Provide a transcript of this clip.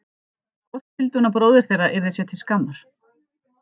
Hvort hún vildi að bróðir þeirra yrði sér til skammar?